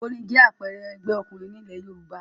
Ògbóni jẹ́ àpẹẹrẹ ẹgbẹ́ òkùnkùn ní ilẹ̀ Yorùbá